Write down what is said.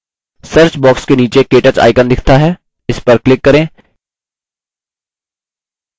search box के नीचे ktouch icon दिखता है इस पर click करें